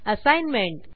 assignment